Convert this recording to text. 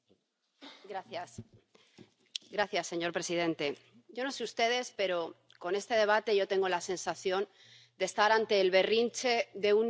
Señor presidente, yo no sé ustedes, pero, con este debate, yo tengo la sensación de estar ante el berrinche de un niño al que se le ha roto un juguete.